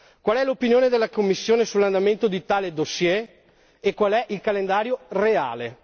Qual è l'opinione della Commissione sull'andamento di tale dossier e qual è il calendario reale?